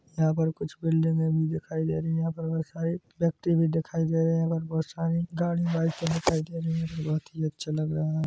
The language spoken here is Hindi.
यहा पर कुछ बिल्डिंगे भी दिखाई दे रही है यहा पर बहुत सारी व्यक्ति भी दिखाई दे रहे है यहा पर बहोत सारी गाड़िया बाइक दिखाई दे रही हैबहोत ही अच्छा लग रहा है।